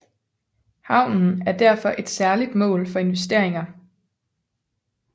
Havnen er derfor et særligt mål for investeringer